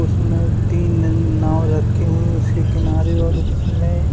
उसमें तीन नई नाऊ रखी हुए उसके किनारे और उस में --